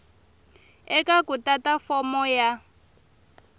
eka ku tata fomo ya